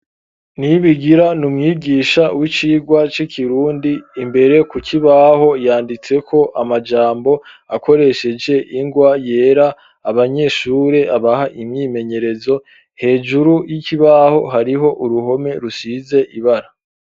Nibigira, ni umwigisha w'icigwa, c'ikirundi; imbere ku kibaho, yanditseko amajambo, akoresheje ingwa yera; abanyeshure, abaha imyimenyerezo, hejuru y'ikibaho, hariho uruhome, rusize ibara.